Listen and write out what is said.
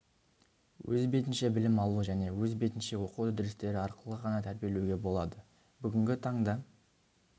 өз бетінше білім алу және өз бетінше оқу үдерістері арқылы ғана тәрбилеуге болады бүгінгі таңда